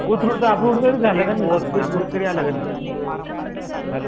कोथरूडच approval कधी झालं रे हॅलो